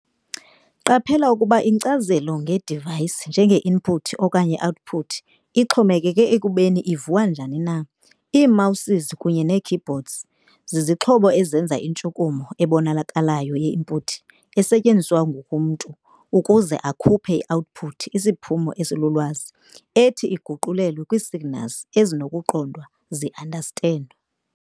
Qaphela okokuba inkcazo nge-device njenge-input okanye i-output ixhomekeke ekubeni iviwa njani na. Ii-Mouses kunye nee-keyboards zizixhobo ezenza intshukumo ebonakalayo ye-input esetyenziswa ngumntu ukuza akhuphe i-output, isiphumo esilulwazi, ethi iguqulelwe kwii-signals ezinokuqondwa zii-understand.